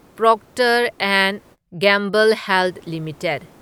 Procter and Gamble Health limited